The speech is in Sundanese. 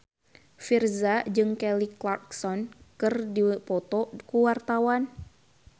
Virzha jeung Kelly Clarkson keur dipoto ku wartawan